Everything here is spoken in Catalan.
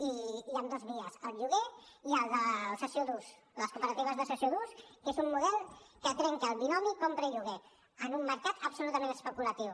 i hi han dos vies el lloguer i la cessió d’ús les cooperatives de cessió d’ús que és un model que trenca el binomi compra i lloguer en un mercat absolutament especulatiu